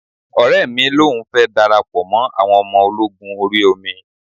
Ọ̀rẹ́ mi lòun fẹ́ darapọ̀ mọ́ awọn ọmọ ológun orí omi